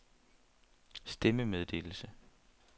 stemmemeddelelse